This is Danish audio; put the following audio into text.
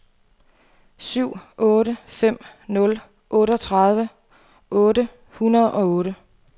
syv otte fem nul otteogtredive otte hundrede og otte